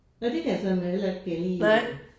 Nåh det kan jeg sådan heller ikke lige